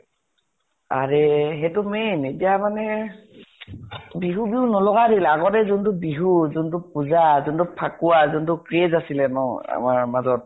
আৰে, সেইটো তুমি এতিয়া মানে বিজু বিহু নলগা আগতে যোনটো বিহু, যোনটো পূজা, যোনটো ফাকুৱা, যোনটো craze আছিলে ন আমাৰ মাজত